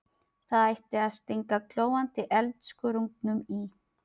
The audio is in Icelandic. Það ætti að stinga glóandi eldskörungnum í.